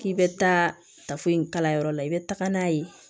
K'i bɛ taa tafo in kala yɔrɔ la i bɛ taga n'a ye